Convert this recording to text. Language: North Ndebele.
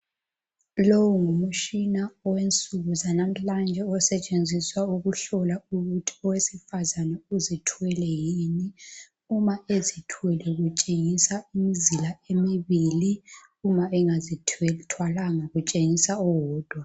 Lowu ngumtshina owensuku zanamhlanje osetshenziswa ukuhlola umuntu owesifazane ukuthi uzithwele yini .Uma ezithwele utshengisa imizila emibili, uma engazithwalanga utshengisa owodwa.